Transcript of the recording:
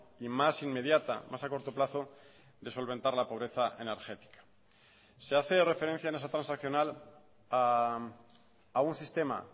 y más inmediata más a corto plazo de solventar la pobreza energética se hace referencia en esa transaccional a un sistema